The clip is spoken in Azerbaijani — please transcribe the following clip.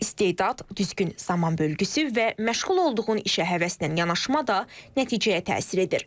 İstedad, düzgün zaman bölgüsü və məşğul olduğun işə həvəslə yanaşma da nəticəyə təsir edir.